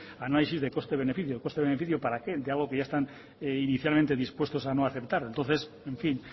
análisis de coste beneficio el coste beneficio para qué de algo que ya están inicialmente dispuestos a no aceptar entonces en fin